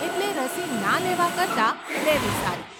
એટલે રસી ના લેવા કરતાં લેવી સારી.